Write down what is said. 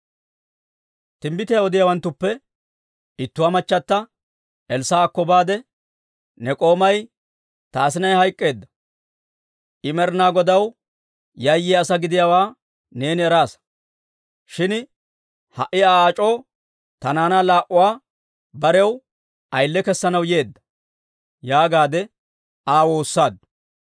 Timbbitiyaa odiyaawanttuppe ittuwaa machchata Elssaa'akko baade, «Ne k'oomay ta asinay hayk'k'eedda. I Med'ina Godaw yayyiyaa asaa gidiyaawaa neeni eraasa. Shin ha"i Aa ac'oo ta naanaa laa"uwaa barew ayile kessanaw yeedda» yaagaadde aw waassaaddu.